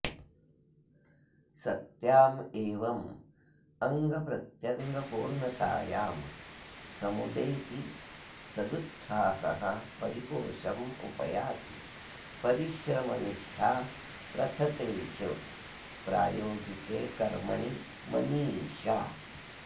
सत्याम् एवम् अङ्गप्रत्यङ्गपूर्णतायां समुदेति सदुत्साहः परिपोषम् उपयाति परिश्रमनिष्ठा प्रथते च प्रायोगिके कर्मणि मनीषा